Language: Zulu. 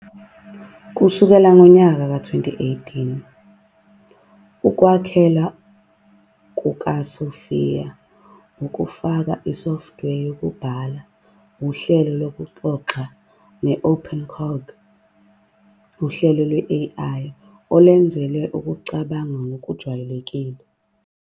Kusukela ngo-2018, ukwakheka kukaSophia kufaka isoftware yokubhala, uhlelo lokuxoxa, ne- OpenCog, uhlelo lwe-AI olwenzelwe ukucabanga okujwayelekile.